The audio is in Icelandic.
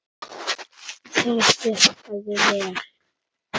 Það virkaði vel.